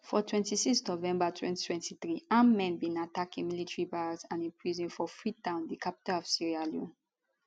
for 26 november 2023 armed men bin attack a military barracks and a prison for freetown di capital of sierra leone